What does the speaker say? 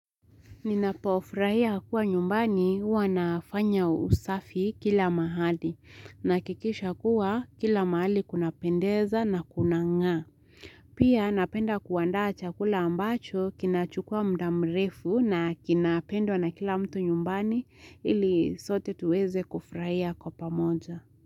Ninapofrahia kuwa nyumbani huwanafanya usafi kila mahali na kikisha kuwa kila mahali kuna pendeza na kuna ng'aa. Pia napenda kuwanda chakula ambacho kinachukua mdamrefu na kinapendwa na kila mtu nyumbani ili sote tuweze kufrahia kwa pamoja.